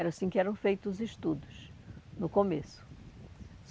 Era assim que eram feitos os estudos, no começo.